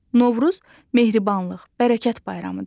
Novruz mərhəmət, bərəkət bayramıdır.